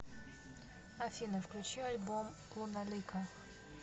афина включи альбом луналика